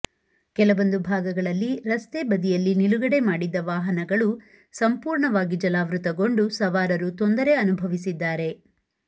ಕೆಲವೊಂದು ಭಾಗಗಳಲ್ಲಿ ರಸ್ತೆಬದಿಯಲ್ಲಿ ನಿಲುಗಡೆ ಮಾಡಿದ್ದ ವಾಹನಗಳು ಸಂಪೂರ್ಣವಾಗಿ ಜಲಾವೃತಗೊಂಡು ಸವಾರರು ತೊಂದರೆ ಅನುಭವಿಸಿದ್ದಾರೆ